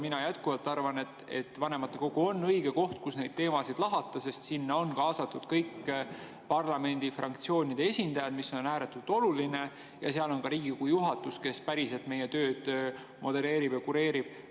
Mina jätkuvalt arvan, et vanematekogu on õige koht, kus neid teemasid lahata, sest sinna on kaasatud kõigi parlamendifraktsioonide esindajad, mis on ääretult oluline, ja seal on ka Riigikogu juhatus, kes päriselt meie tööd modereerib ja kureerib.